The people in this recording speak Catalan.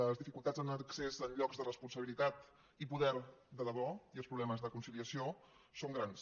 les dificultats en l’accés a llocs de responsabilitat i poder de debò i els problemes de conciliació són grans